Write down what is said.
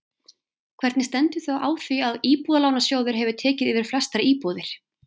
Hvernig stendur þá á því að Íbúðalánasjóður hefur tekið yfir flestar íbúðir?